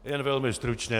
Jen velmi stručně.